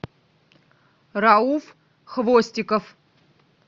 рауф хвостиков